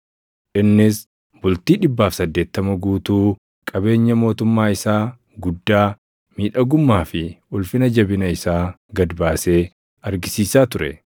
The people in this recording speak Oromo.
Innis bultii 180 guutuu qabeenya mootummaa isaa guddaa, miidhagummaa fi ulfina jabina isaa gad baasee argisiisaa ture.